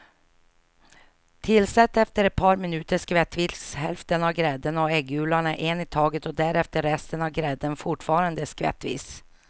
Tillsätt efter ett par minuter skvättvis hälften av grädden och äggulorna en i taget och därefter resten av grädden, fortfarande skvättvis.